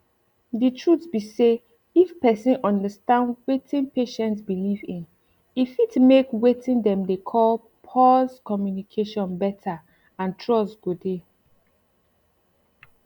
the truth be say if persin understand weting patient believe in e fit make weting dem dey call pause communication better and trust go dey